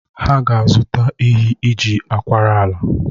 Ha ga-azụta ehi iji akwara ala